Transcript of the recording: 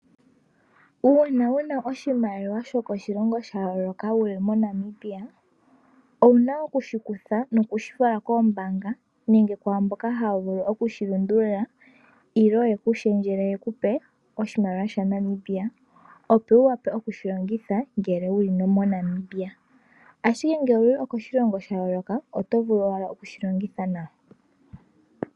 Uuna wu na oshimaliwa shokoshilongo shayooloka wuli moNamibia owuna okushikutha nokushi fala koombaanga nenge kwaamboka haya vulu okushilundulula nenge yekulundululile yeku pe oshimaliwa shaNamibia opo wu wape okushilongitha ngele wuli moNamibia, ashike ngele owuli koshilongo shayooloka oto vulu owala okushilongitha nawa.